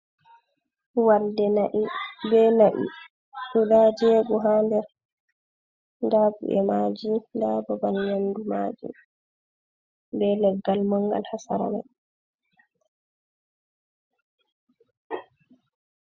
Walde na'i be na'i guda jego ha nder nda bu’e maji nda babal nyamdu maji, be leggal mangal ha sera mai.